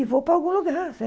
E vou para algum lugar.